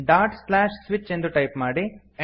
dot slash switch ಎಂದು type ಮಾಡಿ